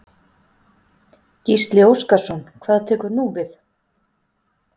Gísli Óskarsson: Hvað tekur nú við?